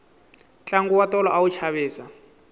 tlangu wa tolo a wu chavisa